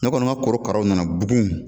Ne kɔni ka korokaraw nana bugun